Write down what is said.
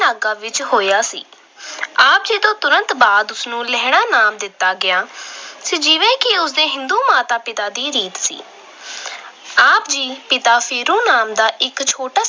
ਨਾਗਾ ਵਿੱਚ ਹੋਇਆ ਸੀ। ਆਪ ਜੀ ਤੋਂ ਤੁਰੰਤ ਬਾਅਦ ਉਸਨੂੰ ਲਹਿਰਾ ਨਾਮ ਦਿੱਤਾ ਗਿਆ ਜਿਵੇਂ ਕਿ ਉਦੋਂ ਹਿੰਦੂ ਮਾਤਾ-ਪਿਤਾ ਦੀ ਰੀਤ ਸੀ। ਆਪ ਦੇ ਪਿਤਾ ਫੇਰੂ ਮੱਲ ਦਾ ਇੱਕ ਛੋਟਾ